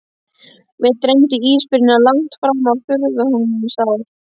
Mig dreymdi ísbirnina langt fram á fullorðinsár.